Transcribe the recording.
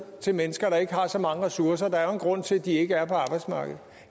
til mennesker der ikke har så mange ressourcer der er jo en grund til at de ikke er på arbejdsmarkedet